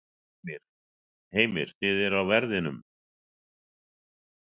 Heimir: Eruð þið á verðinum?